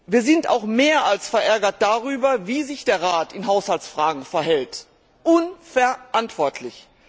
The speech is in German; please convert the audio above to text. Wir sind auch mehr als verärgert darüber, wie sich der Rat in Haushaltsfragen verhält unverantwortlich!